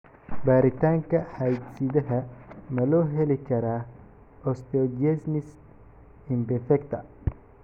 Baaritaanka hidde-sidaha ma loo heli karaa osteogenesis imperfecta?